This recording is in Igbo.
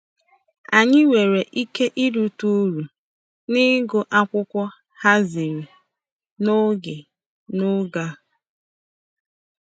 Anyị nwere ike irite uru n'ịgụ akwụkwọ a haziri n'oge n'oge a.